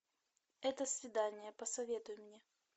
это свидание посоветуй мне